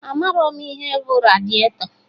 Amarọ m ihe bụ radiatọ